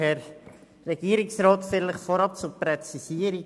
Vorab Folgendes zur Präzisierung: